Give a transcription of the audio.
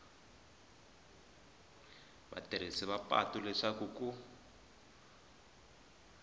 vatirhisi va patu leswaku ku